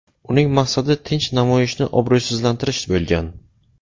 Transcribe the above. Uning maqsadi tinch namoyishni obro‘sizlantirish bo‘lgan.